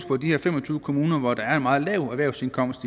på de her fem og tyve kommuner hvor der er en meget lav erhvervsindkomst